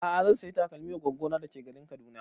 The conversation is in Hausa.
A'a zan saya takalmin wa goggo na da ke garin Kaduna